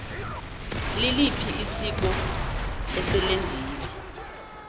liliphi isiko eselenziwe